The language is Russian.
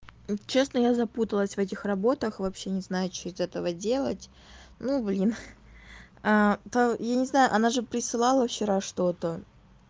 честно я запуталась в этих работах вообще не знаю что из этого делать ну блин по я не знаю она же присылала вчера что-то